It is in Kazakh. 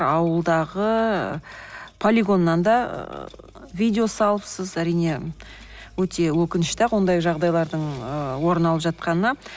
ауылдағы полигоннан да ыыы видео салапсыз әрине өте өкінішті ақ ондай жағдайлардың ы орын алып жатқаны